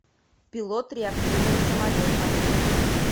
пилот реактивного самолета